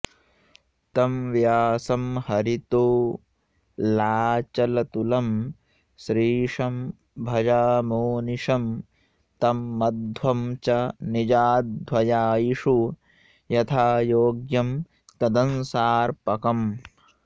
तं व्यासं हरितोऽलाचलतुलं श्रीशं भजामोनिशं तं मध्वं च निजाध्वयायिषु यथायोग्यं तदंशार्पकम्